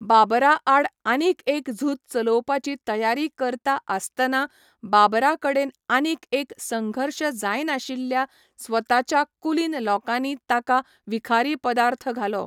बाबराआड आनीक एक झूज चलोवपाची तयारी करता आसतना बाबराकडेन आनीक एक संघर्श जायनाशिल्ल्या स्वताच्या कुलीन लोकांनी ताका विखारी पदार्थ घालो.